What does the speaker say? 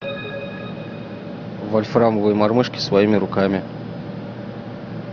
вольфрамовые мормышки своими руками